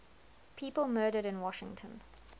people murdered in washington